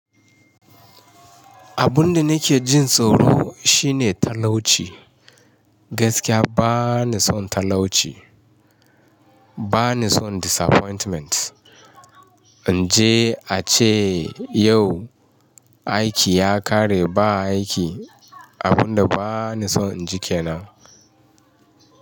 Abun da nake jin tsoro shine talauci. Gaskiya ba ni son talauci. Ba ni son disappointment. In je a ce yau aiki ya ƙare ba aiki, abun da ba ni son in ji ke nan.